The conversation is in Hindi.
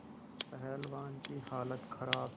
पहलवान की हालत खराब